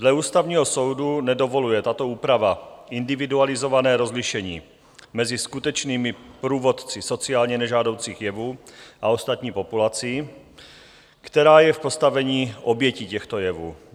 Dle Ústavního soudu nedovoluje tato úprava individualizované rozlišení mezi skutečnými původci sociálně nežádoucích jevů a ostatní populací, která je v postavení obětí těchto jevů.